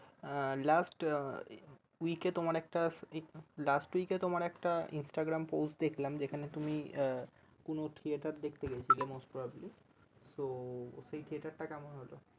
আহ last week এ তোমার একটা last week একটা Instagram post দেখলাম যেখানে তুমি আহ কোনো theatre দেখতে গিয়েছিলে most probably তো সে theatre টা কেমন হলো?